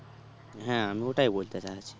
হ্যাঁ আমি ওটাই বলতে চাইছি